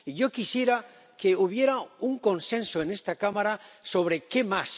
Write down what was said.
Y yo quisiera que hubiera un consenso en esta Cámara sobre qué más.